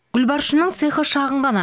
гүлбаршынның цехы шағын ғана